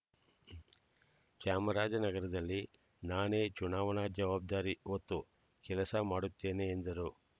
ಚಾಮರಾಜನಗರದಲ್ಲಿ ನಾನೇ ಚುನಾವಣಾ ಜವಾಬ್ದಾರಿ ಹೊತ್ತು ಕೆಲಸ ಮಾಡುತ್ತೇನೆ ಎಂದರು